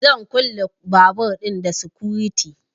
Zan kulle babur ɗin da sikuriti